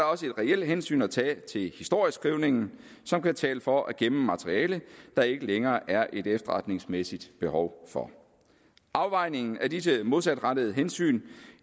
også et reelt hensyn at tage til historieskrivningen som kan tale for at gemme materiale der ikke længere er et efterretningsmæssigt behov for afvejningen af disse modsatrettede hensyn